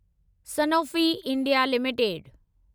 Sanofi India limited